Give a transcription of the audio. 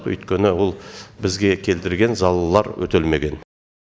өйткені ол бізге келтірген залаллар өтелмеген